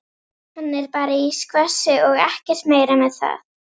Hann er bara í skvassi og ekkert meira með það.